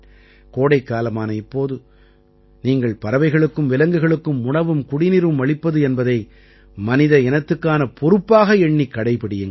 கோடைக்காலமான இப்போது நீங்கள் பறவைகளுக்கும் விலங்குகளுக்கும் உணவும் குடிநீரும் அளிப்பது என்பதை மனித இனத்துக்கான பொறுப்பாக எண்ணிக் கடைப்பிடியுங்கள்